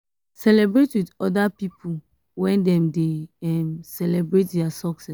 celebrate with oda pipo when dem dey um celebrate their success